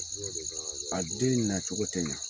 A den in na cogo tɛ ɲa.